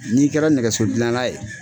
N'i kɛra nɛgɛso dilanna ye